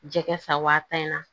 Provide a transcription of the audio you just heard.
Jɛgɛ san wa tan in na